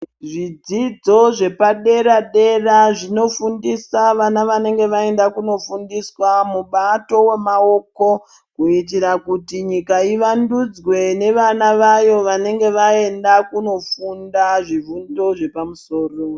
Zvidzidzo zvepaderedera zvinofundisa vana vanenge vaenda kunofundiswa mubato womaoko, kuitira kuti nyika ivandudzwe nevana vayo vanenge vaenda kunofunda zvifundo zvepamusoro.